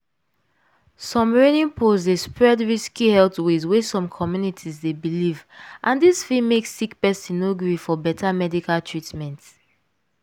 some reigning post dey spread risky health ways wey some communities dey believe and dis fit make sick person no gree for beta medical treatment um